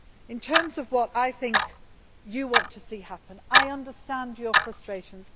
In terms of what I think you want to see happen, I understand your frustrations.